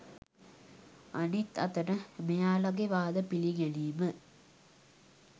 අනිත් අතට මෙයාලාගේ වාද පිලිගැනීම